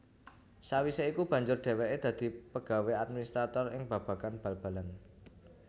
Sawisé iku banjur dhéwéké dadi pegawé administrator ing babagan bal balan